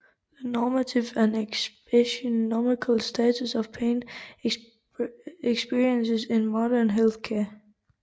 The normative and epistemological status of pain experiences in modern health care